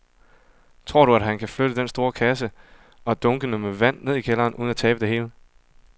Tror du, at han kan flytte den store kasse og dunkene med vand ned i kælderen uden at tabe det hele?